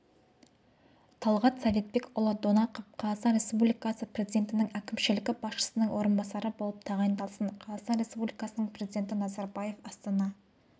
талғат советбекұлы донақов қазақстан республикасы президентінің әкімшілігі басшысының орынбасары болып тағайындалсын қазақстан республикасының президенті назарбаев астана